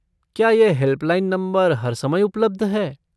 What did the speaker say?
क्या यह helpline number हर समय उपलब्ध है?